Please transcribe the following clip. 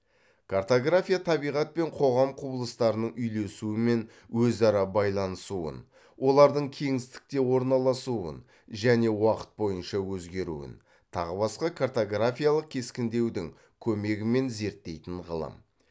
картография табиғат пен қоғам құбылыстарының үйлесуі мен өзара байланысуын олардың кеңістікте орналасуын және уақыт бойынша өзгеруін тағы басқа картогафиялық кескіндеудің көмегімен зерттейтін ғылым